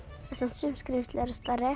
sum skrímsli eru stærri